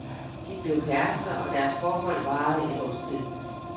De blev kærester, og deres forhold varede et års tid.